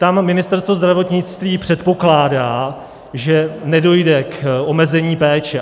Tam Ministerstvo zdravotnictví předpokládá, že nedojde k omezení péče.